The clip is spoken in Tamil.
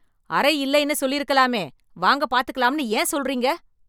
அறை இல்லைன்னு சொல்லிருக்கலாமே, வாங்க பாத்துக்கலாம்னு ஏன் சொல்றீங்க?